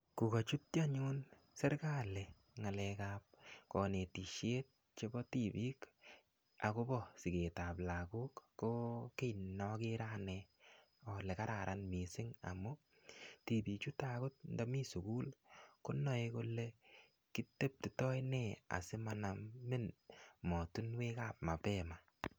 Kokachutchi anyun serikali ng'alekap kanetisiet chebo tibik, akobo sigetab lagok, ko kiy ne akere ane ale kararan missing. Amu, tibik chuto angot ndamii sugul, konae kole kiteptitoi nee asimanamin mootunwekap mapema